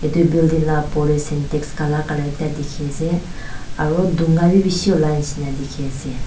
tu building la opor tey sentex kala kala ekta dikhi ase aru dhunga bhi bishi olai nishina dikhiase.